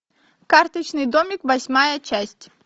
карточный домик восьмая часть